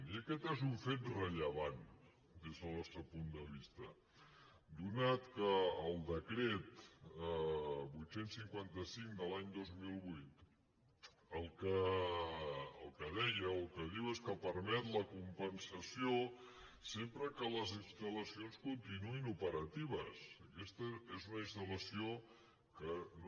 i aquest és un fet rellevant des del nostre punt de vista ja que el decret vuit cents i cinquanta cinc de l’any dos mil vuit el que de·ia o el que diu és que permet la compensació sempre que les instaluna instal·lació que no